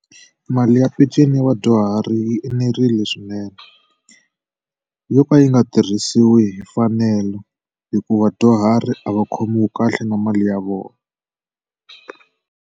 Mali ya peceni ya vadyuhari yi enerile swinene yo ka yi nga tirhisiwi hi mfanelo hikuva vadyuhari a va khomiwi kahle na mali ya vona.